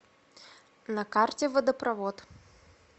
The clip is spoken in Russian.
на карте водопровод